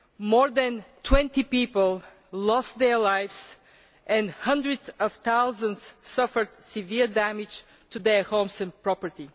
More than 20 people lost their lives, and hundreds of thousands suffered severe damage to their homes and property.